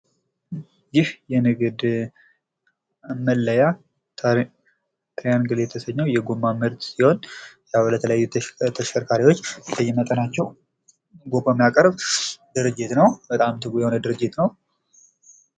ይህ የንግድ መለያ ትራየንግል የተሰኘው የጎማ ምርት ሲሆን፤ ለተለያዩ ተሽከርካሪዎች ልዩነት ናቸው። ጎማ የሚያቀርብ ድርጅት ነው። በጣም ትጉ የሆነ ድርጅት ነው።